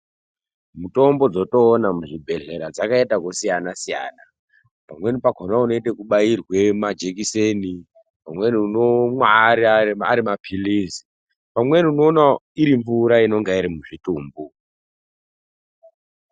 Mutombo dzotoona muzvibhodhlera dzakaita ekusiyana siyana pamweni pakona unoite ekubairwe majekiseni , pamweni unomwa arima phirizi pamwe unoon irimvura unonga iri muzvitumbu.